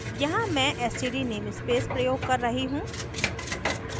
यहाँ मैं std namespace प्रयोग कर रही हूँ